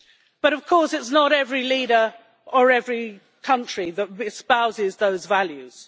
But of course, it's not every leader or every country that espouses those values.